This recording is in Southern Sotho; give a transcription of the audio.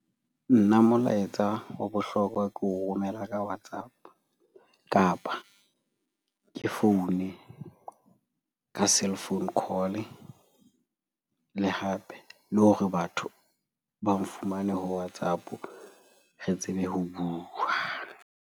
Nna molaetsa wa bohlokwa ke o romela ka WhatsApp kapa ke foune ka cellphone call-e. Le hape le hore batho ba nfumane ho WhatsApp re tsebe ho bua.